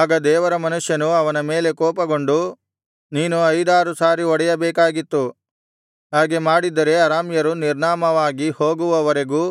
ಆಗ ದೇವರ ಮನುಷ್ಯನು ಅವನ ಮೇಲೆ ಕೋಪಗೊಂಡು ನೀನು ಐದಾರು ಸಾರಿ ಹೊಡೆಯಬೇಕಾಗಿತ್ತು ಹಾಗೆ ಮಾಡಿದ್ದರೆ ಅರಾಮ್ಯರು ನಿರ್ನಾಮವಾಗಿ ಹೋಗುವವರೆಗೂ